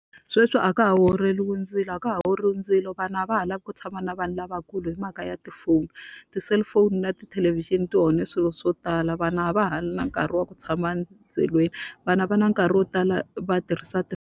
Sweswi a ka ha orheriwi ndzilo a ka ha orhiwi ndzilo vana a va ha lavi ku tshama na vanhu lavakulu hi mhaka ya tifoni. Ti-cellphone na tithelevhixini ti onhe swilo swo tala vana a va ha ri na nkarhi wa ku tshama endzilweni. Vana a va na nkarhi wo tala va tirhisa ti.